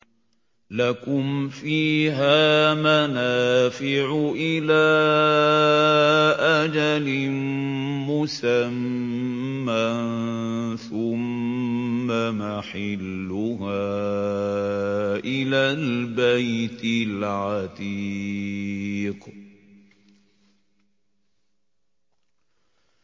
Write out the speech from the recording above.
لَكُمْ فِيهَا مَنَافِعُ إِلَىٰ أَجَلٍ مُّسَمًّى ثُمَّ مَحِلُّهَا إِلَى الْبَيْتِ الْعَتِيقِ